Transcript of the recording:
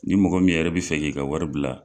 Ni mɔgɔ min yɛrɛ bi fɛ k'i ka wari bila